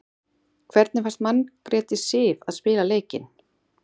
Hvernig fannst Margréti Sif að spila leikinn?